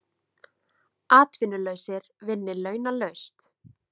Atvinnulausir vinni launalaust